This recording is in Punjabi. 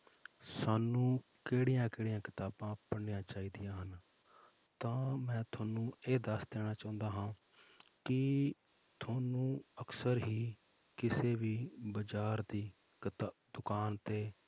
ਸਾਨੂੰ ਕਿਹੜੀਆਂ ਕਿਹੜੀਆਂ ਕਿਤਾਬਾਂ ਪੜ੍ਹਨੀਆਂ ਚਾਹੀਦੀਆਂ ਹਨ, ਤਾਂ ਮੈਂ ਤੁਹਾਨੂੰ ਇਹ ਦੱਸ ਦੇਣਾ ਚਾਹੁੰਦਾ ਹਾਂ ਕਿ ਤੁਹਾਨੂੰ ਅਕਸਰ ਹੀ ਕਿਸੇ ਵੀ ਬਾਜ਼ਾਰ ਦੀ ਕਿਤਾ~ ਦੁਕਾਨ ਤੇ